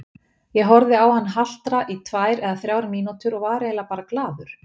Ég horfði á hann haltra í tvær eða þrjár mínútur og var eiginlega bara glaður.